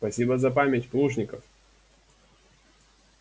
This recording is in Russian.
спасибо за память плужников